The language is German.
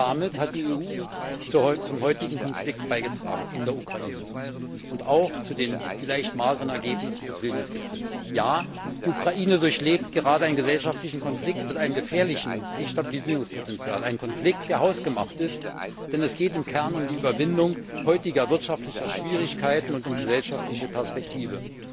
Damit hat die EU zum heutigen Konflikt in der Ukraine und auch zu den vielleicht mageren Ergebnissen des Vilnius Gipfels beigetragen. Ja, die Ukraine durchlebt gerade einen gesellschaftlichen Konflikt mit einem gefährlichen Destabilisierungspotenzial, einen Konflikt, der hausgemacht ist, denn es geht im Kern um die Überwindung heutiger wirtschaftlicher Schwierigkeiten und um gesellschaftliche Perspektive.